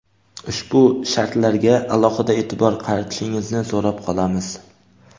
ushbu shartlarga alohida eʼtibor qaratishingizni so‘rab qolamiz.